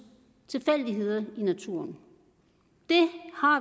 tilfældigheder i naturen det har